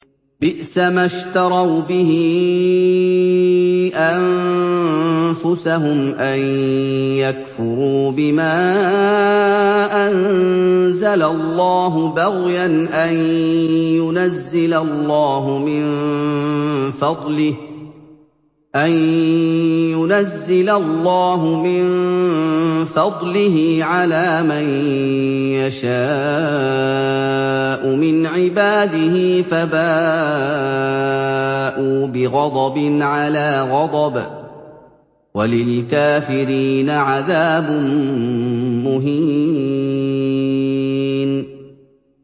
بِئْسَمَا اشْتَرَوْا بِهِ أَنفُسَهُمْ أَن يَكْفُرُوا بِمَا أَنزَلَ اللَّهُ بَغْيًا أَن يُنَزِّلَ اللَّهُ مِن فَضْلِهِ عَلَىٰ مَن يَشَاءُ مِنْ عِبَادِهِ ۖ فَبَاءُوا بِغَضَبٍ عَلَىٰ غَضَبٍ ۚ وَلِلْكَافِرِينَ عَذَابٌ مُّهِينٌ